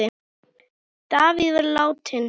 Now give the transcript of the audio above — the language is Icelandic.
Davíð var látinn.